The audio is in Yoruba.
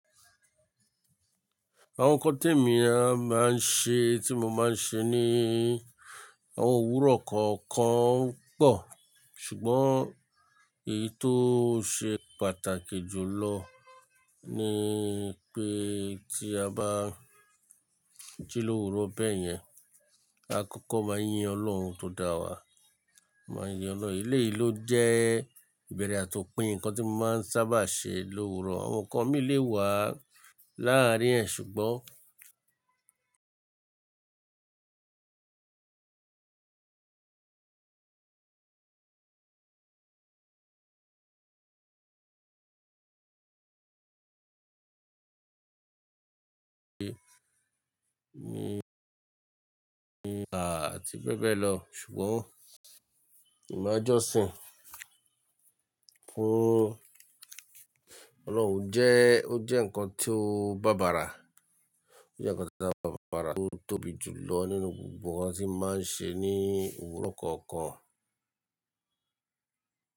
Àwọn nǹkan tí èmi máa ń ṣe, tí mo máa ń ṣe ní àwọn òwúrọ̀ kọ̀ọ̀kan pọ̀. Ṣùgbọ́n èyí tó ṣe pàtàkì jù lọ ni pé tí a bá jí lówúrọ̀ bẹ́ẹ̀ yẹn, a kọ́kọ́ máa yin Ọlọ́run tó dá wa, máa yin Ọlọ́run. Elé yìí ló jẹ́ ìbẹ̀rẹ̀ àti òpin ǹkan tí mo máa ń sábà ṣe lówúrọ̀. Àwọn ǹkan mí lè wà láàárín ẹ̀ ṣùgbọ́n A àti bẹ́ẹ̀ bẹ́ẹ̀ lọ. Ṣùgbọ́n nbá Jọ́sìn fún Ọlọ́run jẹ́, ó jẹ́ ǹkan tí ó bàbàrà, ó jẹ́ ǹkan tí ó bàbàrà tó tóbi jù lọ nínú gbogbo ǹkan tí máa ń ṣe ní òwúrọ̀ kọ̀ọ̀kan.